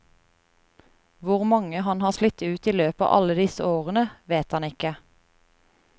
Hvor mange han har slitt ut i løpet av alle disse årene, vet han ikke.